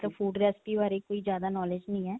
ਮਤਲਬ food recipe ਬਾਰੇ ਕੋਈ ਜ਼ਿਆਦਾ knowledge ਨਹੀਂ ਹੈ